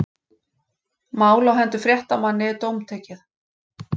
Mál á hendur fréttamanni dómtekið